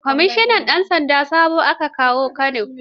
Kwamishinan 'yan sanda sabo aka kawo Kano.